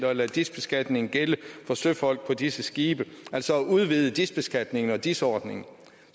og lade dis beskatningen gælde for søfolk på disse skibe altså at udvide dis beskatningen og dis ordningen